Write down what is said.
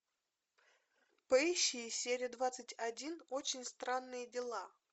поищи серия двадцать один очень странные дела